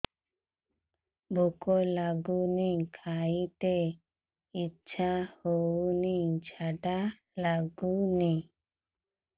ଭୁକ ଲାଗୁନି ଖାଇତେ ଇଛା ହଉନି ଝାଡ଼ା ଲାଗୁନି